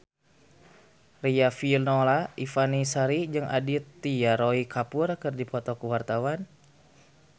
Riafinola Ifani Sari jeung Aditya Roy Kapoor keur dipoto ku wartawan